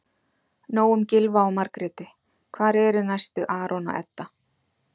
Nóg um Gylfa og Margréti- hvar eru næstu Aron og Edda?